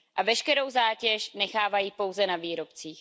A veškerou zátěž nechávají pouze na výrobcích.